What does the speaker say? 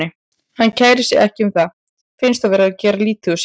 Hann kærir sig ekki um það, finnst þá vera gert lítið úr sér.